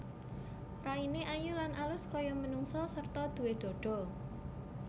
Raine ayu lan alus kaya manungsa sarta duwé dhadha